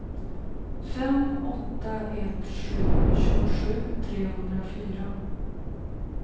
fem åtta ett sju tjugosju trehundrafyra